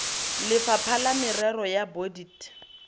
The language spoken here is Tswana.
lefapha la merero ya bodit